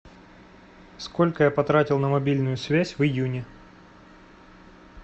сколько я потратил на мобильную связь в июне